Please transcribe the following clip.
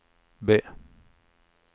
B